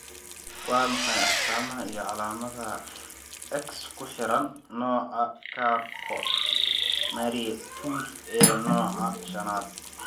Waa maxay astamaha iyo calaamadaha X ku xiran nooca Charcot Marie Tooth ee nooca shanaad?